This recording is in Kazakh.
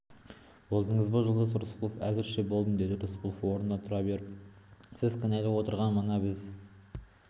болдыңыз ба жолдас рысқұлов әзірше болдым деді рысқұлов орнына отыра беріп сіз кінәлап отырған мына біз